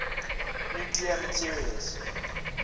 nuclear materials